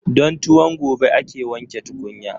Don tuwon gobe ake wanke tukunya.